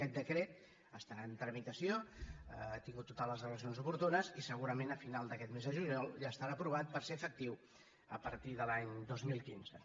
aquest decret està en tramitació ha tingut totes les allegacions oportunes i segurament a final d’aquest mes de juliol ja estarà aprovat per ser efectiu a partir de l’any dos mil quinze